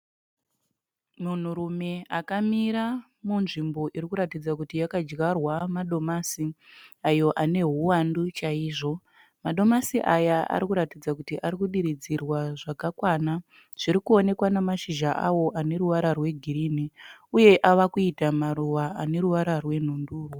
Munhurume akamira munzvimbo iri kuratidza kuti yakadyarwa madomasi ayo ane huwandu chaizvo. Madomasi aya ari kuratidza kuti ari kudiridzirwa zvakakwana zviri kuonekwa nemashizha awo ane ruvara rwegirini uye ave kuita maruva ane ruvara rwenhundurwa.